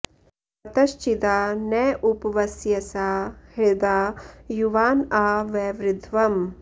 अत॑श्चि॒दा न॒ उप॒ वस्य॑सा हृ॒दा युवा॑न॒ आ व॑वृध्वम्